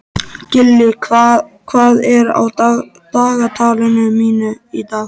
Gillý, hvað er á dagatalinu mínu í dag?